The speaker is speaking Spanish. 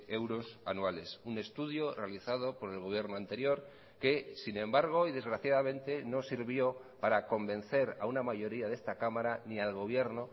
euros anuales un estudio realizado por el gobierno anterior que sin embargo y desgraciadamente no sirvió para convencer a una mayoría de esta cámara ni al gobierno